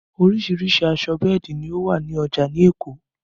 Oríṣiríṣìí aṣọ bẹ́ẹ̀dì ló wà ní ọjà ní Èkó